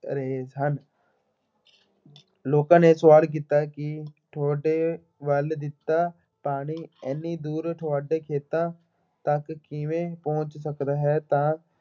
ਰਹੇ ਹਨ। ਲੋਕਾਂ ਨੇ ਸਵਾਲ ਕੀਤਾ ਕਿ ਤੁਹਾਡੇ ਵੱਲ ਦਿੱਤਾ ਪਾਣੀ ਐਨੀ ਤੁਹਾਡੇ ਖੇਤਾਂ ਤੱਕ ਕਿਵੇਂ ਪਹੁੰਚ ਸਕਦਾ ਹੈ ਤਾਂ